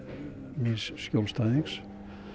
míns skjólstæðings